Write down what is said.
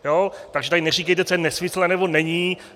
Takže tady neříkejte, co je nesmysl, anebo není.